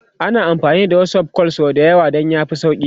ana amfani da WhatsApp call sau da yawa Dan ya fi sauki